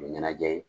U ye ɲɛnajɛ ye